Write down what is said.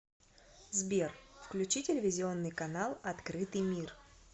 сбер включи телевизионный канал открытый мир